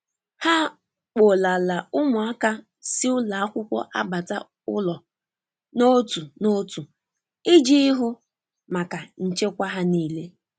Ha kpolara ụmụaka si ụlọakwụkwọ abata ụlọ na otu na otu iji ihu maka nche kwa ha nile.